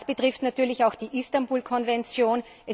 Und das betrifft natürlich auch die Istanbul Konvention.